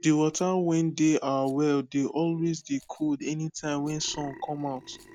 de wata wen dey our well dey always dey cold anytime wen sun come out